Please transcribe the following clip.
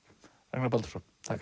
Ragnar Baldursson þakka